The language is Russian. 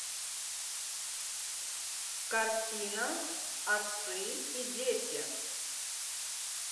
картина отцы и дети